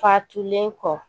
Fatulen kɔ